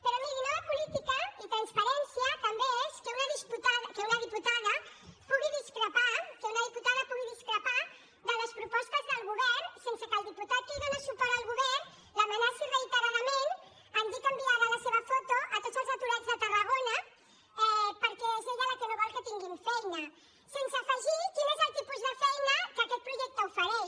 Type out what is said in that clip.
però miri nova política i transparència també és que una diputada pugui discrepar que una diputada pugui discrepar de les propostes del govern sense que el diputat que dóna suport al govern l’amenaci reiteradament en dir que enviarà la seva foto a tots els aturats de tarragona perquè és ella la que no vol que tinguin feina sense afegir quin és el tipus de feina que aquest projecte ofereix